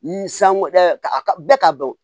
Sanko ka bɛɛ k'a dɔn